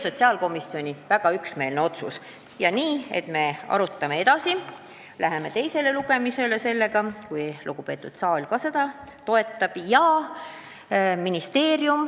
Sotsiaalkomisjon otsustas väga üksmeelselt, et me arutame asja edasi ja läheme teisele lugemisele, kui lugupeetud saal seda toetab.